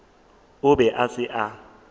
o be a se a